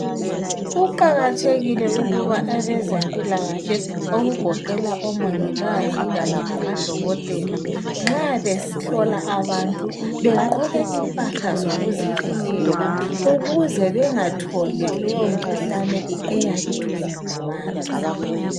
Kuqakathekile ukuba abezempikahle okugoqela omongikazi kanye lamadokotela nxa behlola abantu begqoke impahla zokuzivikela ukuze bengatholi leyo mkhuhlane eyabe ithwele ngabantu.